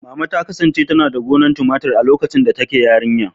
Mama ta kasance tana da gonar tumatur a lokacin da take yarinya.